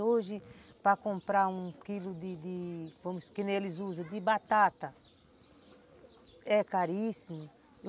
Hoje, para comprar um quilo de de, como eles dizem, de batata, é caríssimo.